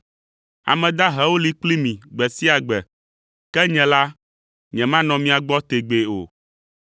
Ame dahewo li kpli mi gbe sia gbe, ke nye la, nyemanɔ mia gbɔ tegbee o.